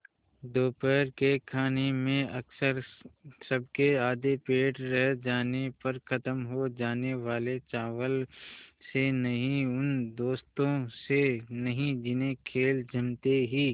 दोपहर के खाने में अक्सर सबके आधे पेट रह जाने पर ख़त्म हो जाने वाले चावल से नहीं उन दोस्तों से नहीं जिन्हें खेल जमते ही